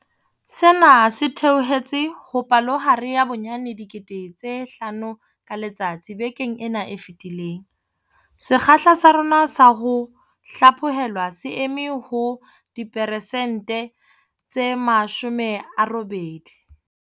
Sena se theohetse ho palohare ya bonyane 5 000 ka letsatsi bekeng ena e fetileng. Sekgahla sa rona sa ho hlaphohelwa se eme ho diperesente tse 80.